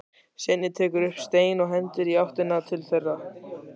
Svenni tekur upp stein og hendir í áttina til þeirra.